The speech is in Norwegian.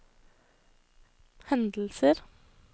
hendelser